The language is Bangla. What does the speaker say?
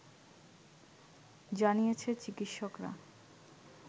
জানিয়েছে চিকিৎসকরা